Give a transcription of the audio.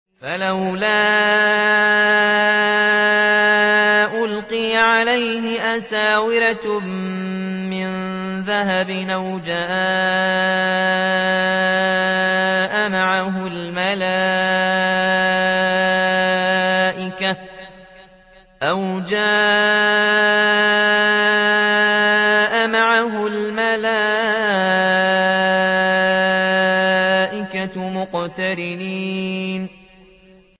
فَلَوْلَا أُلْقِيَ عَلَيْهِ أَسْوِرَةٌ مِّن ذَهَبٍ أَوْ جَاءَ مَعَهُ الْمَلَائِكَةُ مُقْتَرِنِينَ